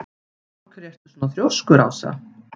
Af hverju ertu svona þrjóskur, Ása?